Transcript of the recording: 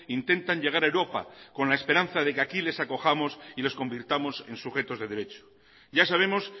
intentan llegar a europa con la esperanza de que aquí les acojamos y les convirtamos en sujetos de derecho ya sabemos